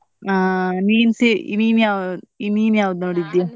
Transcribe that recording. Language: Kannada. ಹಾ ನೀನ್ se~ ನೀನ್ ಯಾವ್~ ನೀನ್ ಯಾವ್ದ್ ನೋಡಿದ್ಯಾ?